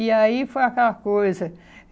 E aí foi aquela coisa.